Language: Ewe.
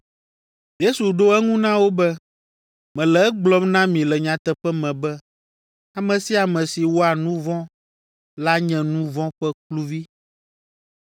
Yesu ɖo eŋu na wo be, “Mele egblɔm na mi le nyateƒe me be ame sia ame si wɔa nu vɔ̃ la nye nu vɔ̃ ƒe kluvi.